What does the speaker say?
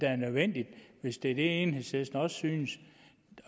er nødvendigt hvis det er det enhedslisten også synes